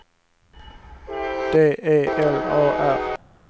D E L A R